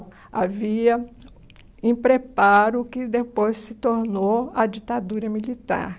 Havia, em preparo, o que depois se tornou a ditadura militar.